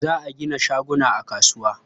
Za a gina shaguna a kasuwa.